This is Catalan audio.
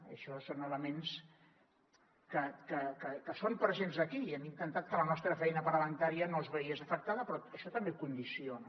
i això són elements que són presents aquí i hem intentat que la nostra feina parlamentària no es veiés afectada però això també condiciona